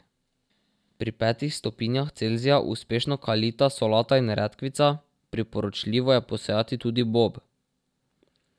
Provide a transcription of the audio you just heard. Pri petih stopinjah Celzija uspešno kalita solata in redkvica, priporočljivo je posejati tudi bob.